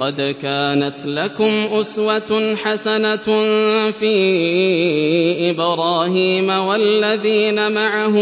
قَدْ كَانَتْ لَكُمْ أُسْوَةٌ حَسَنَةٌ فِي إِبْرَاهِيمَ وَالَّذِينَ مَعَهُ